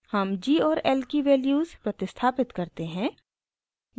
हम g और l की वैल्यूज़ प्रतिस्थापित करते हैं